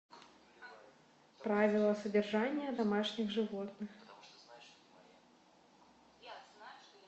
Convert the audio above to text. правила содержания домашних животных